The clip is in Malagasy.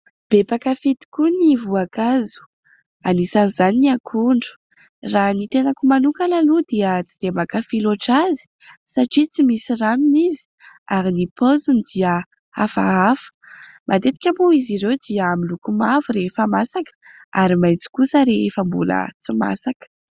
Be mpankafỳ tokoa ny voankazo, anisan'izany ny akondro. Raha ny tenako manokana aloha dia tsy dia mankafỳ loatra azy satria tsy misy ranony izy ary ny paoziny dia hafahafa. Matetika moa izy ireo dia miloko mavo rehefa masaka ary maitso kosa rehefa mbola tsy masaka.